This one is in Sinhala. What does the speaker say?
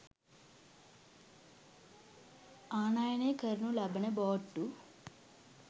ආනයනය කරනු ලබන බෝට්ටු